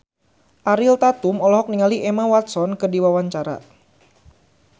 Ariel Tatum olohok ningali Emma Watson keur diwawancara